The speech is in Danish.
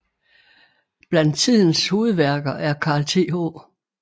Blandt tidens hovedværker er Carl Th